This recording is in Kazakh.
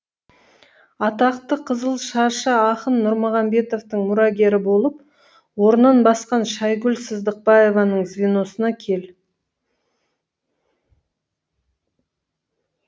атақты қызылшашы ақын нұрмағамбетовтың мұрагері болып орнын басқан шайгүл сыздықбаеваның звеносына кел